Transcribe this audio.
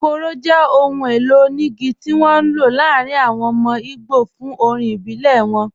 Ikoro jẹ́ ọ̀hùn èlò oníìgí tí wọn n ló láàrín àwọn ọmọ Ìgbò fún orín ìbílẹ̀ wọn